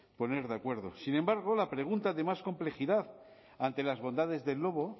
poner de acuerdo sin embargo la pregunta de más complejidad ante las bondades del lobo